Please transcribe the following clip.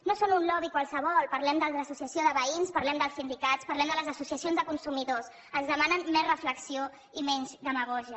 no són un lobby qualsevol parlem de l’associació de veïns parlem dels sindicats parlem de les associacions de consumidors ens demanen més reflexió i menys demagògia